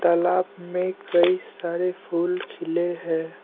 तालाब में कई सारे फूल खिले है।